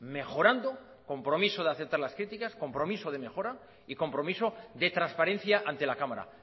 mejorando compromiso de aceptar las críticas compromiso de mejora y compromiso de transparencia ante la cámara